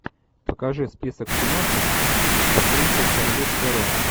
покажи список киношек с актрисой шарлиз терон